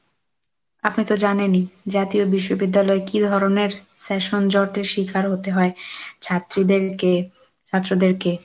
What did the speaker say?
আপনি তো জানেনই জাতীয় বিশ্ববিদ্যালয় কি ধরনের session জটের শিকার হতে হয় ছাত্রীদেরকে ছাত্রদেরকে।